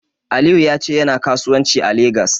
Aliyu ya ce yana kasuwanci a Legas.